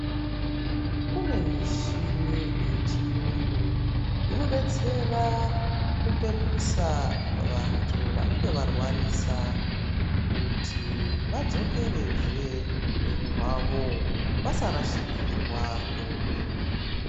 Kune mishini yechiyungu, inodetsera kupepusa vantu vanenge varwarisa, kuti vadzokerezve upenyu hwavo. Vasarashikirwa ngeupenyu.